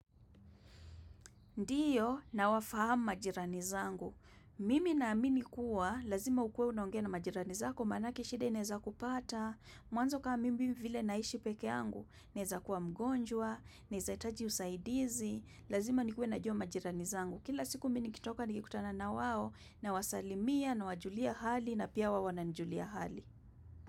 Ndio nawafahamu majirani zangu. Mimi naamini kuwa lazima ukuwe unongea na majirani zako manake shida inaweza kupata. Mwanzo kama mimi vile naishi pekee yangu naweza kuwa mgonjwa, naweza itaji usaidizi. Lazima nikuwe najua majirani zangu. Kila siku mimi nikitoka nikikutana na wao nawasalimia nawajulia hali na pia hao wananijulia hali.